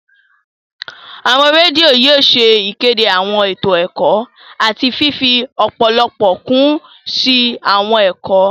Awọn redio yóò ṣe ìkéde awọn eto ẹkọ àti fifi ọpọlọpọ kun si awọn ẹkọ